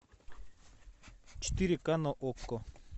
четыре ка на окко